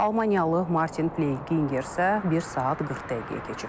Almaniyalı Martin Pley Giger isə 1 saat 40 dəqiqəyə keçib.